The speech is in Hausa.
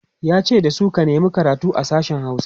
yace dasu "ka nema karatu a sashen Hausa!"